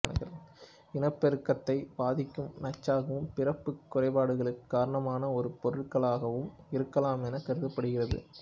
இனப்பெருக்கத்தை பாதிக்கும் நச்சாகவும் பிறப்புக் குறைபாடுகளுக்கு காரணமான ஒரு பொருளாகவும் இருக்கலாமென கருதப்படுகிறது